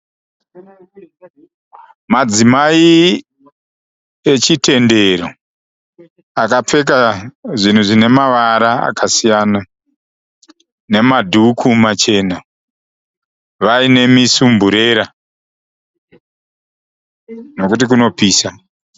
Madzimai echitendero akapfeka zvinhu zvine mavara akasiyana nemadhuku machena vaine misumburera nekuti kunopisa.